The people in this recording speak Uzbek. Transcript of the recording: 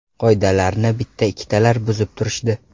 Qoidalarni bitta-ikkitalar buzib turishdi.